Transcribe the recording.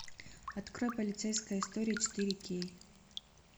открой полицейская история четыре кей